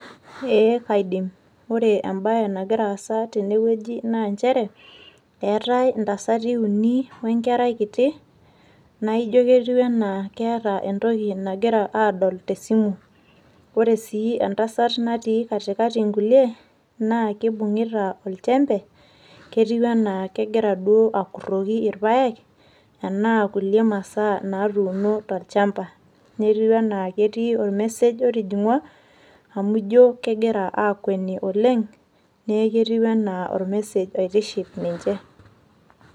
ee kaidim ore ebae nagira aasa tene wueji naa eetae intasati uni wenkerai, naijo ketiu anaa keeta entoki nagira adol tesimu. ore sii entasat natii katiakati nkulie naa kibung'ita olchempe, ketiu anaa kegira duo akuroki ilpaek. naa kulie masaa natuuno tolchampa. netiu anaa ketii or message otijing'wa, amu ijo kegira akueni oleng, neeku ketiu anaa or message oitiship ninche.